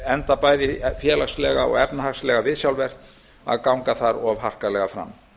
enda er bæði félagslega og efnahagslega viðsjárvert að ganga þar of harkalega fram